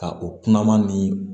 Ka o kuma ma ni